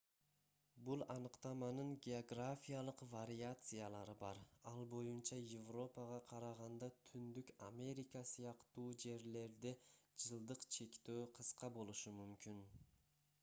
бул аныктаманын географиялык вариациялары бар ал боюнча европага караганда түндүк америка сыяктуу жерлерде жылдык чектөө кыска болушу мүмкүн